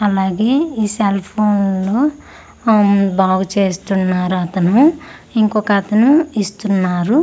అలాగే ఈ సెల్ ఫోన్ను ఉమ్ బాగు చేస్తున్నారు అతను ఇంకొక అతను ఇస్తున్నారు.